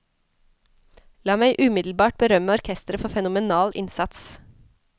La meg umiddelbart berømme orkesteret for fenomenal innsats.